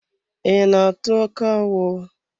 I na-atụ akawo?